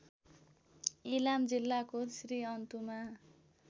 इलाम जिल्लाको श्रीअन्तुमा